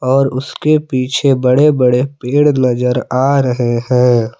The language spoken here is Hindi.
और उसके पीछे बड़े बड़े पेड़ नजर आ रहे हैं।